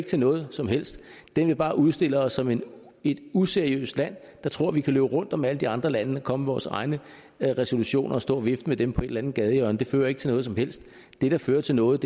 til noget som helst den vil bare udstille os som et useriøst land der tror vi kan løbe rundt om alle de andre lande og komme med vores egne resolutioner og stå og vifte med dem på et eller andet gadehjørne men det fører ikke til noget som helst det der fører til noget